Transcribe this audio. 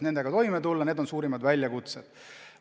Need on suurimad väljakutsed.